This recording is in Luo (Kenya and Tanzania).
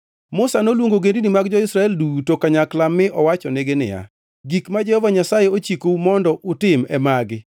Musa noluongo ogendini mag jo-Israel duto kanyakla mi owachonegi niya, “Gik ma Jehova Nyasaye ochikou mondo utim e magi: